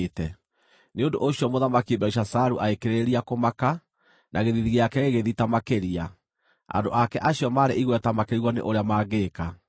Nĩ ũndũ ũcio Mũthamaki Belishazaru agĩkĩrĩrĩria kũmaka, na gĩthiithi gĩake gĩgĩthita makĩria. Andũ ake acio maarĩ igweta makĩrigwo nĩ ũrĩa mangĩĩka.